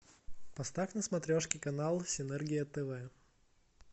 поставь на смотрешке канал синергия тв